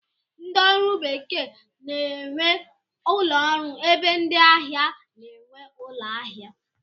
Ndị ọrụ bekee na-enwe ụlọọrụ ebe ndị ahịa na-enwe ụlọahịa